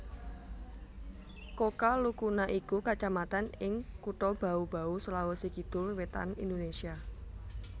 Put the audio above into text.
Kokalukuna iku kacamatan ing Kutha Bau Bau Sulawesi Kidul Wétan Indonesia